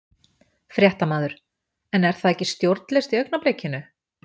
Fréttamaður: En er það ekki stjórnlaust í augnablikinu?